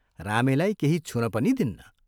रामेलाई केही छुन पनि दिन्न।